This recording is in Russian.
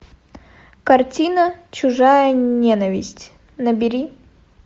картина чужая ненависть набери